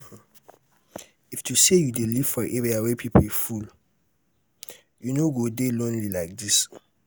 if to say you dey live for area where people full you no go dey lonely like dis